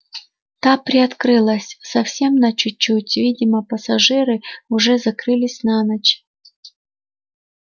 та приоткрылась совсем на чуть-чуть видимо пассажиры уже закрылись на ночь